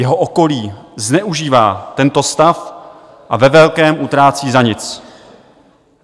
Jeho okolí zneužívá tento stav a ve velkém utrácí za nic.